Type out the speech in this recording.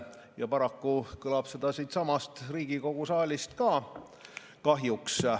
Ja paraku kõlab seda kahjuks ka siitsamast Riigikogu saalist.